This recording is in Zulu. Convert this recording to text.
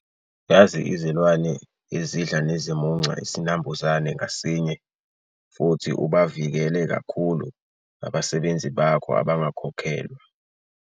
Yazi izilwane ezidla nezimunca isinambuzane ngasinye futhi ubavikele kakhulu abasebenzi bakho abangakhokhelwa.